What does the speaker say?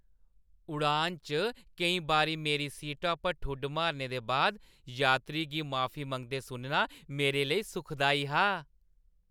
उड़ान च केईं बारी मेरी सीटा पर ठुड्डे मारने दे बाद यात्री गी माफी मंगदे सुनना मेरे लेई सुखदाई हा।